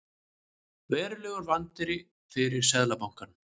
Verulegur vandi fyrir Seðlabankann